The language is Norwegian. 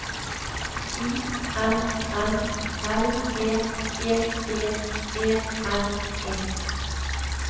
I N N L E G G E N E